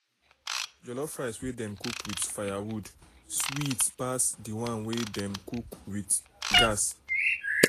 jollof rice wey dem cook with firewood sweet pass the one wey dem cook with gas.